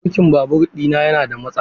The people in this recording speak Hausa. Birkin babur na yana da matsala.